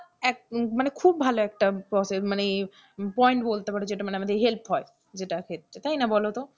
খুব ভালো একটা process মানে point বলতে পারো যেটাতে আমাদের help হয় জেতার ক্ষেত্রে, তাই না বলতো,